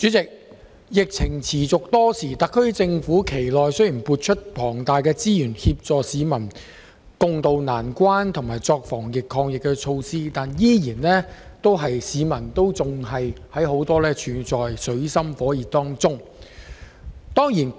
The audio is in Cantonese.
主席，疫情持續多時，特區政府其間雖已撥出大量資源協助市民共渡難關和採取防疫抗疫措施，但仍有很多市民處於水深火熱之中。